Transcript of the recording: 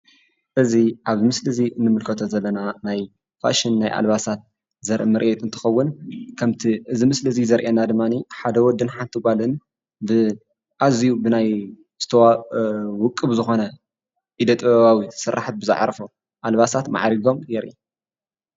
እዚ አብ ምስሊ እዚ እንምልከቶ ዘለና ናይ ፋሽን ናይ አልባሳት ዘሪኢ ምርኢት እንትኸውን ከምቲ እዚ ምስሊ ዘርእየና ድማ ሓደ ወድን ሓቲ ጓልን ብአዝዩ ብናይ ውቅብ ዝኾነ ኢደ ጥበባት ስራሓት ብዝዓረፎ አልባሳት መዕሪጎም የርእይ ፡፡